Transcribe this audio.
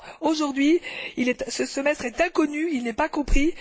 Or, aujourd'hui, ce semestre est inconnu, il n'est pas compris.